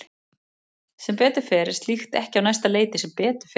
Sem betur fer er slíkt ekki á næsta leiti sem betur fer.